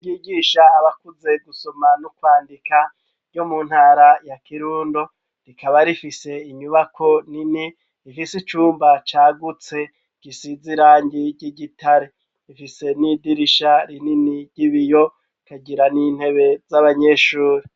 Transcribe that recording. Ishure ryigisha abakuze gusoma n'ukwandika yo mu ntara ya kirundo rikaba rifise inyubako nini ifise icumba cagutse gisize irangi ry'igitare ifise n'idirisha rinini ry'ibiyo ikagira n'intebe z'abanyeshure.